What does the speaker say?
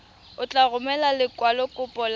o tla romela lekwalokopo la